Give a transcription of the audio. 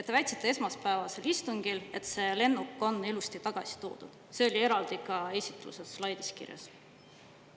Te väitsite esmaspäevasel istungil, et see lennuk on ilusti tagasi toodud, see oli eraldi ka esitluse slaidis kirjas.